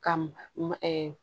Ka ma ɛ